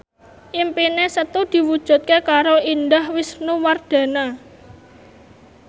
impine Setu diwujudke karo Indah Wisnuwardana